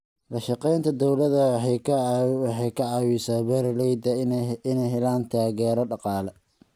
La shaqaynta dawladda waxay ka caawisaa beeralayda inay helaan taageero dhaqaale.